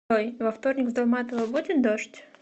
джой во вторник в долматова будет дождь